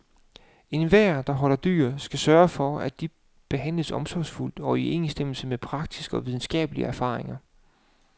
Enhver, der holder dyr, skal sørge for, at de behandles omsorgsfuldt, og i overensstemmelse med praktiske og videnskabelige erfaringer.